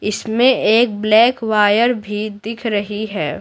इसमें एक black wire भी दिख रही है।